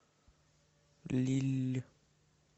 лилль